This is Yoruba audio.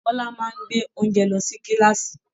Bọla máa n gbé oúnjẹ lọ sí kilaasi.